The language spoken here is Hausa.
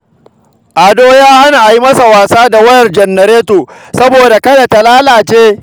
Ado ya hana a yi masa wasa da wayar janareto saboda kada ta lalace